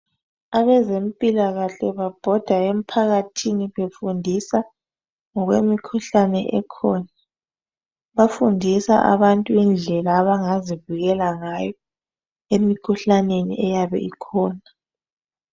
Abezempikahle babhoda emphakathini befundisa ngokwemkhuhlane ekhona , bafundisa abantu indlela abangazivikela ngayo emikhuhlaneni eyabe ikhona